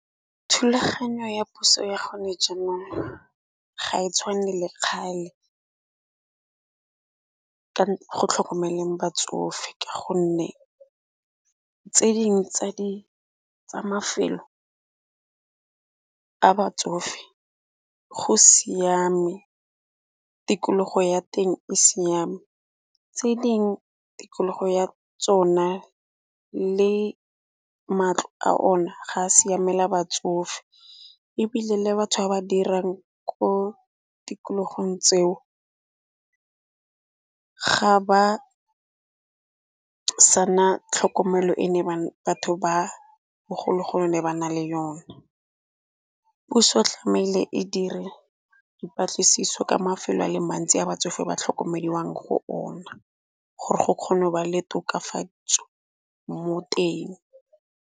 Thulaganyo ya puso ya gone jaanong ga e tshwane le kgale ka go tlhokomeleng batsofe, ka gonne tse dingwe tsa mafelo a batsofe go siame tikologo ya teng e siame. Tse ding tikologo ya tsona le matlo a ona ga a siamela batsofe ebile le batho ba ba dirang ko tikologong tseo ga ba sa na tlhokomelo e ne batho ba bogologolo ba ne ba na le yone. Puso tlameile e dire dipatlisiso ka mafelo a le mantsi a batsofe ba tlhokomediwang go ona gore go kgona go ba le tokafatso mo teng.